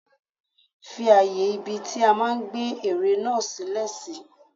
Fi ààyè ibi tí a máa gbé ère náà sí sílè.